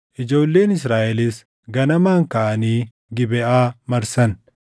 Ijoolleen Israaʼelis ganamaan kaʼanii Gibeʼaa marsan.